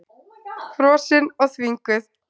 Frosin og þvinguð.